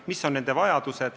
Ma ei tea nende vajadusi.